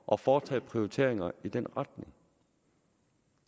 at foretage prioriteringer i den retning